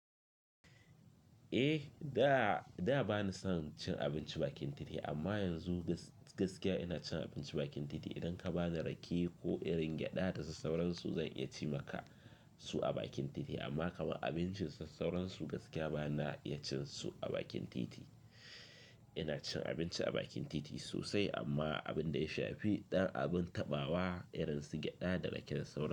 Eh, da ba ni san cin abinci bakin titi amma yanzu gaskiya ina cin abinci bakin titi. Idan ka ba ni rake ko irin gyaɗa da su sauransu zan iya cimaka su a bakin titi. Amma kama abinci su sauransu gaskiya bana iya cin su a bakin titi. Ina cin abinci a bakin titi sosai amma abin da ya shafi ɗan abin taɓawa irin su gyaɗa da raken sauran.